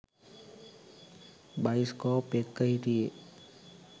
Bioscope එක්ක හිටියේ.